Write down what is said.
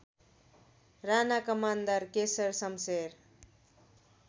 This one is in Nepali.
राणा कमान्डर केशर सम्शेर